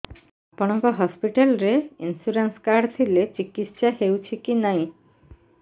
ଆପଣଙ୍କ ହସ୍ପିଟାଲ ରେ insurance card ଥିଲେ ଚିକିତ୍ସା ହେଉଛି କି ନାଇଁ